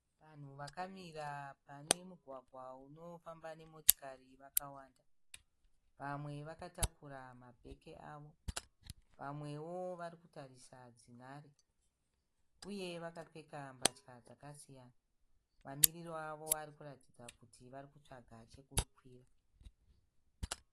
Vanhu vakamira pane mugwagwa unofamba ne motikari vakawanda. Vamwe vakatakura mabhegi avo vamwe wo varikutarisa dzinhari. Uye vakapfeka mbatya dzakasiyana. Mamiriro avo arikuratidza kuti varikutsvaga chekukwira.